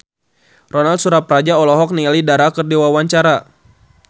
Ronal Surapradja olohok ningali Dara keur diwawancara